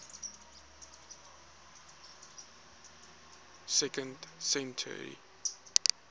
second century